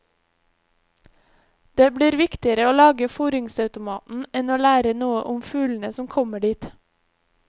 Det blir viktigere å lage fôringsautomaten enn å lære noe om fuglene som kommer dit.